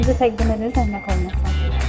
Özümüzü təqdim edirik zəhmət olmasa.